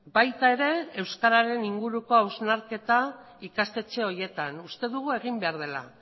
baita ere euskararen inguruko hausnarketa ikastetxe horietan uste dugu egin behar dela